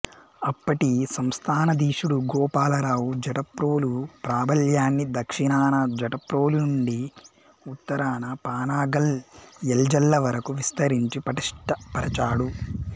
అప్పటి సంస్థానాధీశుడు గోపాలరావు జటప్రోలు ప్రాబల్యాన్ని దక్షిణాన జటప్రోలు నుండి ఉత్తరాన పానగల్ యల్జల్ల వరకు విస్తరించి పటిష్ఠపరచాడు